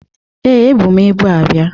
Ee, ebu m ibu abịa